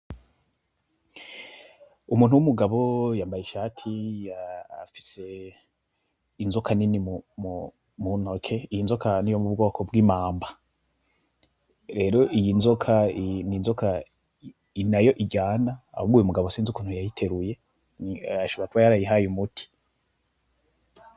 Umuntu w'umugabo yambaye ishati , afise inzoka nini mu ntoke iyo nzoka niyo mu bwoko bw'imamba, rero iyi nzoka n'inzoka nayo iryana ahubwo uyu mugabo sinzi ukuntu yayiteruye ashobora kubayarayihaye umuti.